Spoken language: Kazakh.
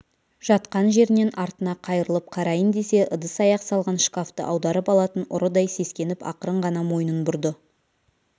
жатқан жерінен артына қайырылып қарайын десе ыдыс-аяқ салған шкафты аударып алатын ұрыдай сескеніп ақырын ғана мойнын бұрды